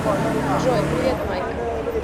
джой привет майк